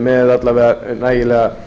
með alla vega nægilega